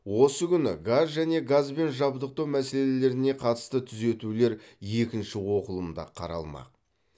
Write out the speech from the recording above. осы күні газ және газбен жабдықтау мәселелеріне қатысты түзетулер екінші оқылымда қаралмақ